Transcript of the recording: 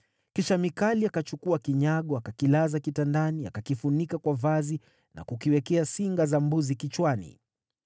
Kisha Mikali akachukua kinyago, akakilaza kitandani, akakifunika kwa vazi na kukiwekea singa za mbuzi kichwani.